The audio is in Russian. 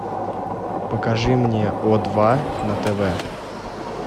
покажи мне о два на тв